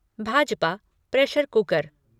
Bhajpa pressure cooker